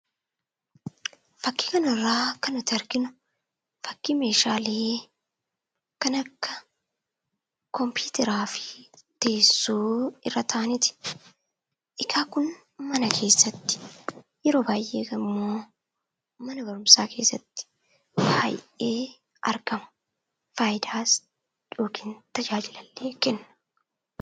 Fakii kana irratti kan arginu fakii kompuuteraa fi teessoo irra taa'aniiti. Kunis baay'inaan mana barumsaa keessatti argama. Akkasuma faayidaa yookiin tajaajila kenna.